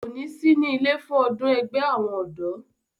kò ní sí ilé fún ọdún ẹgbẹ́ àwọn ọ̀dọ́